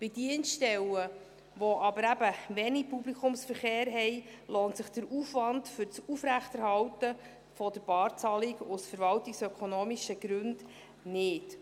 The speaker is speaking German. Bei Dienststellen, die aber eben wenig Publikumsverkehr haben, lohnt sich der Aufwand für die Aufrechterhaltung der Barzahlung aus verwaltungsökonomischen Gründen nicht.